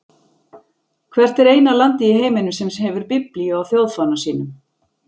Hvert er eina landið í heiminum sem hefur biblíu á þjóðfána sínum?